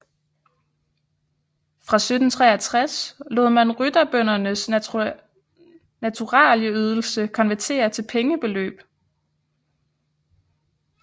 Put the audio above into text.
Fra 1763 lod man rytterbøndernes naturalieydelser konvertere til pengebeløb